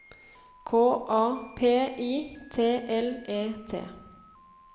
K A P I T L E T